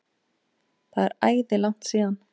Það er æði langt síðan.